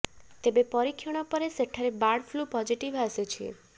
ତେବେ ପରୀକ୍ଷଣ ପରେ ସେଠାରେ ବାର୍ଡ ଫ୍ଲୁ ପଜିଟିଭ୍ ଆସିଛି